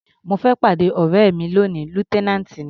Mo fẹ́ pàdé ọ̀rẹ́ mi lóni, lieutenant ni.